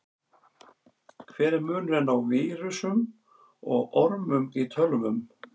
Hver er munurinn á vírusum og ormum í tölvum?